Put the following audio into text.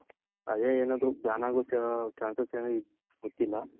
ಅದೆ ಏನೋ ban ಆಗುತ್ತೇನೋ chances ಏನೋ ಗೊತ್ತಿಲ್ಲ.